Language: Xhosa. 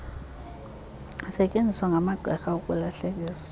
zisetyeenziswa ngamagqirha ukulahlekisa